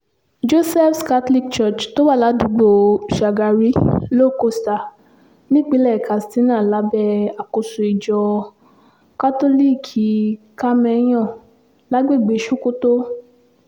josephs catholic church tó wà ládùúgbò shagari low-costa nípínlẹ̀ katsina lábẹ́ àkóso ìjọ kátólíìkì kámẹ́ńyàn lágbègbè sokoto